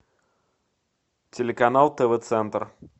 телеканал тв центр